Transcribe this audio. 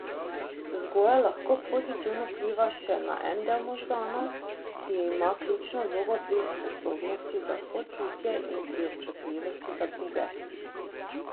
Vzgoja lahko pozitivno vpliva še na en del možganov, ki ima ključno vlogo pri sposobnosti za sočutje in pri občutljivosti za druge.